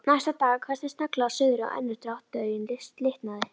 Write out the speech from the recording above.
Næsta dag hvessti snögglega af suðri, og önnur dráttartaugin slitnaði.